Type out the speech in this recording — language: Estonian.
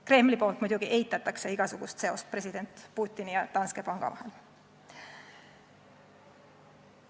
Kreml muidugi eitab igasugust seost president Putini ja Danske panga vahel.